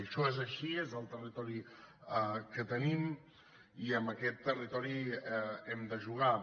això és així és el territori que tenim i amb aquest territori hem de jugar